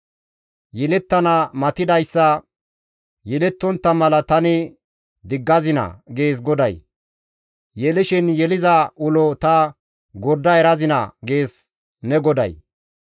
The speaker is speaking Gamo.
Yelettana matidayssa yelettontta mala tani diggazinaa?» gees GODAY. «Yelishin yeliza ulo ta gorda erazinaa?» gees ne GODAY.